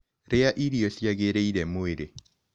Rĩa irio ciagĩrĩire mwĩrĩ